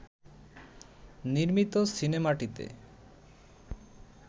নির্মিত সিনেমাটিতে